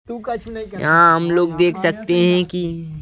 यहाँ हम लोग देख सकते हैं कि --